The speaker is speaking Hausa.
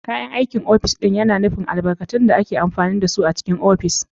Kayan aikin ofis yana nufin albarkatun da ake amfani da su a cikin yanayin ofis.